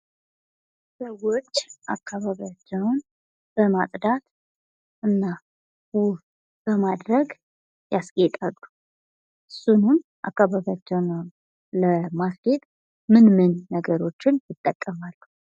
ሰዎች አካባቢያቸውን በማፅዳትና ውብ በማድረግ ያስጌጣሉ እሱንም አካባቢያቸውን ለማስጌጥ ምን ምን ነገሮችን ይጠቀማሉ?